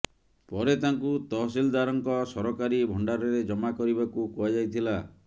ପରେ ତାଙ୍କୁ ତହସିଲଦାରଙ୍କ ସରକାରୀ ଭଣ୍ଡାରରେ ଜମା କରିବାକୁ କୁହାଯାଇଥିଲା